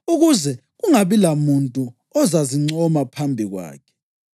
ukuze kungabi lamuntu ozazincoma phambi kwakhe.